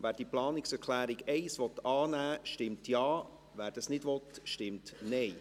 Wer die Planungserklärung 1 annehmen will, stimmt Ja, wer das nicht will, stimmt Nein.